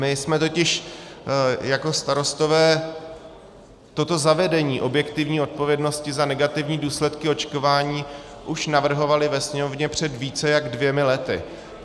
My jsme totiž jako Starostové toto zavedení objektivní odpovědnosti za negativní důsledky očkování už navrhovali ve Sněmovně před více než dvěma lety.